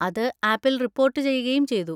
അത് ആപ്പിൽ റിപ്പോർട്ട് ചെയ്യുകയും ചെയ്തു.